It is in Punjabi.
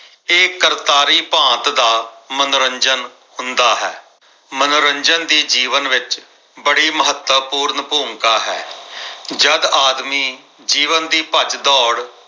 ਇਹ ਕਰਤਾਰੀ ਭਾਂਤ ਦਾ ਮਨੋਰੰਜਨ ਹੁੰਦਾ ਹੈ ਮਨੋਰੰਜਨ ਦੀ ਜੀਵਨ ਵਿੱਚ ਬੜੀ ਮਹੱਤਵਪੂਰਨ ਭੂਮਿਕਾ ਹੈ। ਜਦ ਆਦਮੀ ਜੀਵਨ ਦੀ ਭੱਜ ਦੋੜ